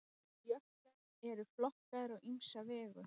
Jöklar eru flokkaðir á ýmsa vegu.